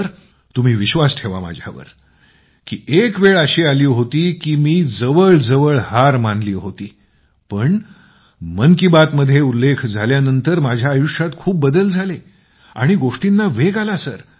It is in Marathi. सर तुम्ही विश्वास ठेवा माझ्यावर की एक वेळ अशी आली होती की मी जवळजवळ हर मानली होती पण मन की बात मध्ये उल्लेख झाल्यानंतर माझ्या आयुष्यात खूप बदल झाले आणि गोष्टींना वेग आला